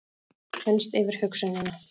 Þenst yfir hugsunina.